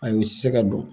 Ayi u ti se ka dɔn